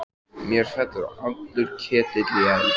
Mér féll allur ketill í eld.